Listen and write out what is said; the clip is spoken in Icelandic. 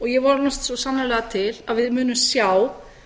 ég vonast svo sannarlega til að við munum sjá